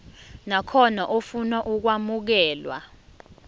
nakhona ofuna ukwamukelwa